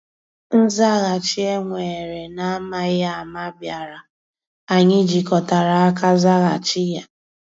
Nzàghàchì e weere n’amaghị ama bịàrà, anyị jikọtara aka zàghàchì ya.